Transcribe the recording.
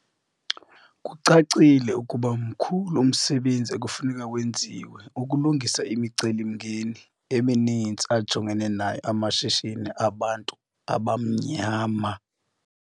Kucacile ukuba mkhulu umsebenzi ekufuneka wenziwe ukulungisa imicelimngeni emininzi ajongene nayo amashishini abantu abamnyama.